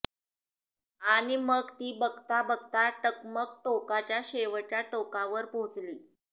आणि मग ती बघता बघता टकमक टोकाच्या शेवटच्या टोकावर पोहचली